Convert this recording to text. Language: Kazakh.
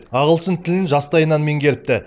ағылшын тілін жастайынан меңгеріпті